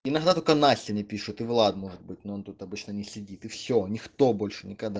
иногда только настя не пишет и влад может быть но тут обычно не сидит и все никто больше никогда